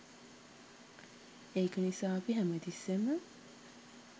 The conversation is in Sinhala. ඒක නිසා අපි හැමතිස්සේම